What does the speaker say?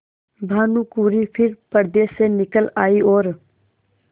भानुकुँवरि फिर पर्दे से निकल आयी और